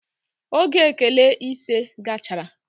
Oge elekele ise gachara.